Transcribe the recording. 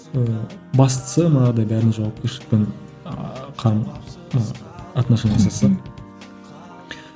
ыыы бастысы мынадай бәрін жауапкершілікпен ыыы қарым ы отношение жасаса